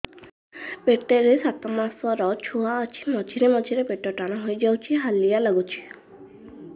ପେଟ ରେ ସାତମାସର ଛୁଆ ଅଛି ମଝିରେ ମଝିରେ ପେଟ ଟାଣ ହେଇଯାଉଚି ହାଲିଆ ଲାଗୁଚି